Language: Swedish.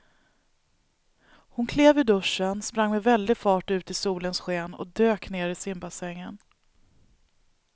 Hon klev ur duschen, sprang med väldig fart ut i solens sken och dök ner i simbassängen.